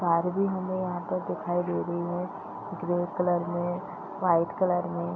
Barbie हमें यहाँ पर दिखाई दे रही है ग्रे कलर में वाइट कलर में।